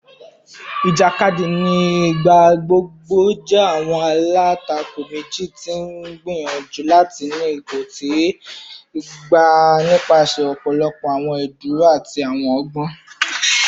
Ijakadi ni igbagbogbo jẹ awọn alatako meji ti n gbiyanju lati ni ipo ti gaba nipasẹ ọpọlọpọ awọn idaduro ati awọn ọgbọn